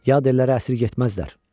yad ellərə əsir getməzlər.